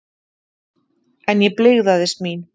En ég blygðaðist mín.